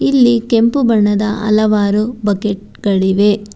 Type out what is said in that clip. ಇಲ್ಲಿ ಕೆಂಪು ಬಣ್ಣದ ಅಲವಾರು ಬಕೆಟ್ ಗಳಿವೆ.